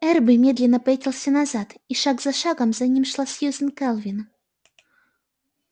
эрби медленно пятился назад и шаг за шагом за ним шла сьюзен кэлвин